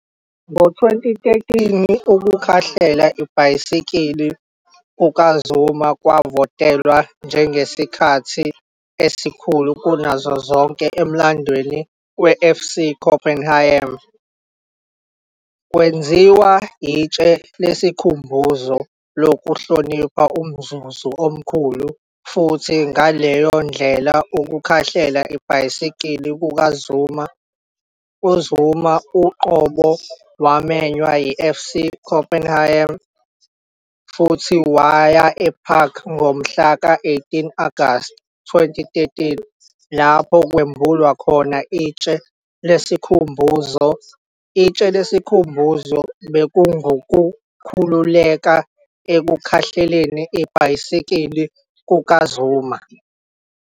Ngo-2013, ukukhahlela ibhayisikili kukaZuma kwavotelwa njengesikhathi esikhulu kunazo zonke emlandweni weFC Copenhagen. Kwenziwa itshe lesikhumbuzo lokuhlonipha umzuzu omkhulu futhi ngaleyo ndlela ukukhahlela ibhayisikili kukaZuma. UZuma uqobo wamenywa yiFC Copenhagen futhi waya eParken ngomhlaka 18 Agasti 2013 lapho kwembulwa khona itshe lesikhumbuzo. Itshe lesikhumbuzo bekungukukhululeka ekukhahleleni ibhayisikili kukaZuma.